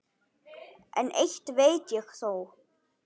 En eitt veit ég þó.